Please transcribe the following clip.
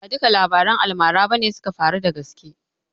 Ba duka labaran almara bane suka faru da gaske